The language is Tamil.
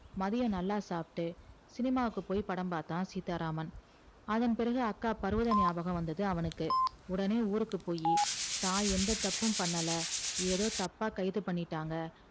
மத்தியம் நல்லா சாப்ட்டு சினிமாக்கு போய் படம் பாத்தா சீத்தா ராமன் அதன் பிறகு அக்கா பருவதம் ஞாபகம் வந்தது அவனுக்கு உடனே ஊருக்கு போயி தா எந்த தப்பும் பன்னல ஏதோ தப்பா கைது பண்ணிட்டாங்க